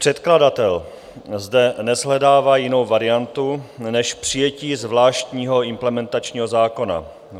Předkladatel zde neshledává jinou variantu než přijetí zvláštního implementačního zákona.